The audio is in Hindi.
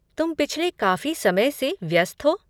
तुम पिछले काफ़ी समय से व्यस्त हो।